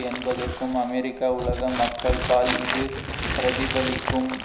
என்பதற்கும் அமெரிக்க உலக மக்கள்பால் இது பிரதிபலிக்கும்